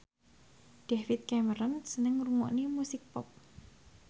David Cameron seneng ngrungokne musik pop